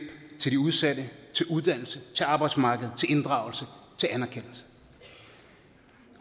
til de udsatte til uddannelse til arbejdsmarkedet til inddragelse til anerkendelse